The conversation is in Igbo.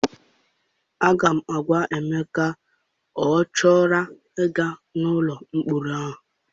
Aga m agwa Emeka ka ọ ghara ịga n'ụlọ mkpọrọ ahụ!